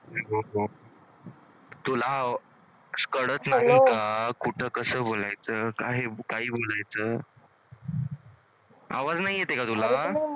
तुला कुठं कसं बोलायचं काय बोलायचं? आवाज नाही येतंय का